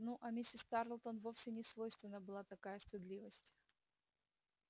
ну а миссис тарлтон вовсе не свойственна была такая стыдливость